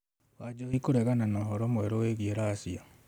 Wanjohi kũregana na ũhoro mwerũ wĩgiĩ Russia